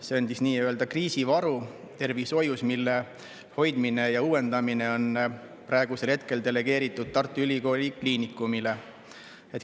See on siis nii-öelda kriisivaru tervishoius, mille hoidmine ja uuendamine on praegu delegeeritud Tartu Ülikooli Kliinikumile.